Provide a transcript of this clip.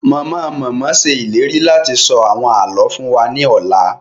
Mama-mama ṣe ìlérí láti sọ àwọn àlọ fún wa ni ọla